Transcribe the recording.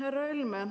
Härra Helme!